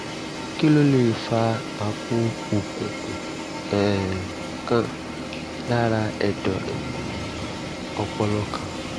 kí ló lè fa àpò òkùnkùn um kan lára ẹ̀dọ̀ um ọpọlọ kan?